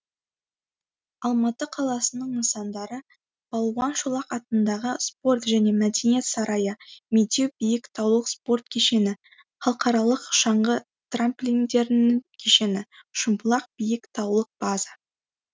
алматы қаласының нысандары балуан шолақ атындағы спорт және мәдениет сарайы медеу биік таулық спорт кешені халықаралық шаңғы трамплиндерінің кешені шымбұлақ биік таулық база